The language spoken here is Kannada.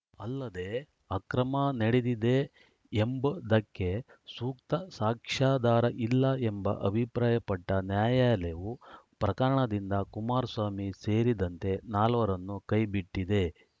ಅಲ್ಲದೇ ಅಕ್ರಮ ನಡೆದಿದೆ ಎಂಬುದಕ್ಕೆ ಸೂಕ್ತ ಸಾಕ್ಷ್ಯಾಧಾರ ಇಲ್ಲ ಎಂಬ ಅಭಿಪ್ರಾಯಪಟ್ಟನ್ಯಾಯಾಲಯವು ಪ್ರಕರಣದಿಂದ ಕುಮಾರಸ್ವಾಮಿ ಸೇರಿದಂತೆ ನಾಲ್ವರನ್ನು ಕೈಬಿಟ್ಟಿದೆ